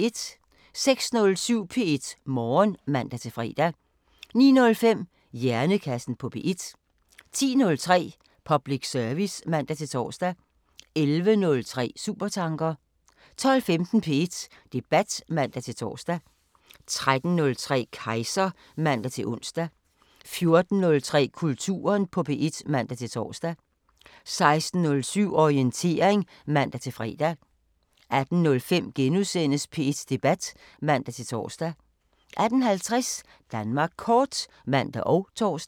06:07: P1 Morgen (man-fre) 09:05: Hjernekassen på P1 10:03: Public service (man-tor) 11:03: Supertanker 12:15: P1 Debat (man-tor) 13:03: Kejser (man-ons) 14:03: Kulturen på P1 (man-tor) 16:07: Orientering (man-fre) 18:05: P1 Debat *(man-tor) 18:50: Danmark Kort (man og tor)